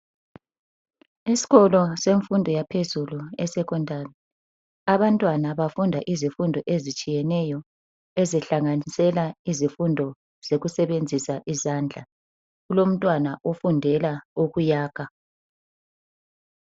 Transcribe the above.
Esikolo semfundo yaphezulu ese Secondary. Abantwana bafunda izifundo ezitshiyeneyo ezihlanganisela izifundo zokusebenzisa izandla. Kulomntwana ofundela ukuyakha.